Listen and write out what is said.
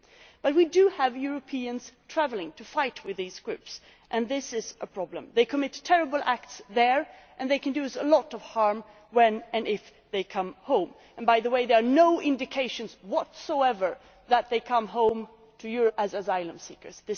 But we do have Europeans travelling to fight with these groups and this is a problem. They commit terrible acts there and they can do us a lot of harm when and if they come home and by the way there are no indications whatsoever that they come to Europe as asylum seekers.